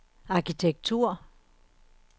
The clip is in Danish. arkitektur